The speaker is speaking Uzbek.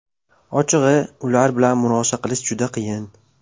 Ochig‘i, ular bilan murosa qilish juda qiyin.